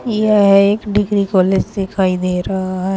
यह एक degree college दिखाई दे रहा है।